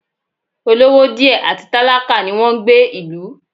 Olówó díẹ̀ àti tálákà ni wọn ń gbé ìlú